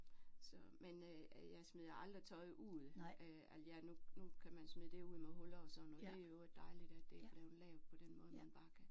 Så men jeg smider aldrig tøj ud øh nu nu kan man smide det ud med huller og sådan noget det er i øvrigt dejligt det er blevet lavet på den måde man bare kan